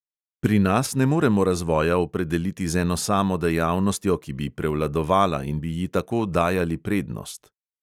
Pri nas ne moremo razvoja opredeliti z eno samo dejavnostjo, ki bi prevladovala in bi ji tako dajali prednost.